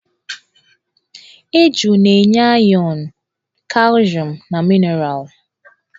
Eju na-enye ayọn, kalshium na minaralụ.